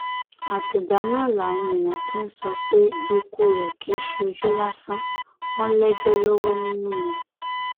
àtìgbà náà làwọn èèyàn ti ń sọ pé ikú rẹ kì í ṣe ojú lásán wọn lẹjọ lọwọ nínú ni